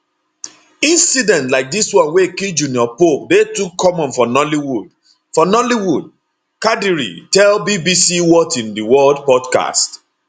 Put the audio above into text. incidents like dis one wey kill junior pope dey too common for nollywood for nollywood kadiri tell bbcwhat in di worldpodcast